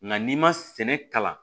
Nka n'i ma sɛnɛ kalan